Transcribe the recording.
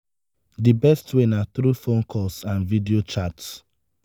di best way na through phone calls and video chats.